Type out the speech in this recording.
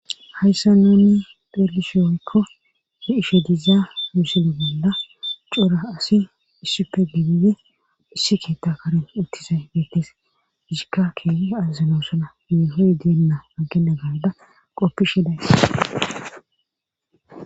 Hayssa nuni pherlishe oykko he isho dizaa misile bolla cora asi issippe gebide issi keetta karin uttizay beettes ishikka keei azazilosona neeho diyenna agkena garda qoppi shedays.